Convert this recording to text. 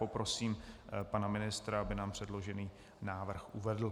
Poprosím pana ministra, aby nám předložený návrh uvedl.